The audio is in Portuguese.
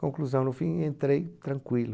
Conclusão, no fim, entrei tranquilo.